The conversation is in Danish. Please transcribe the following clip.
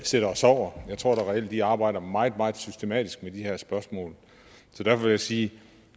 sidder og sover jeg tror da reelt at de arbejder meget meget systematisk med de her spørgsmål derfor vil jeg sige